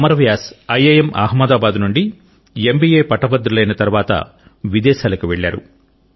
Amar Vyas IIM Ahmedabad నుండి MBA పట్టభద్రులైన తరువాత విదేశాలకు వెళ్లారు